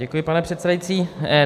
Děkuji, pane předsedající.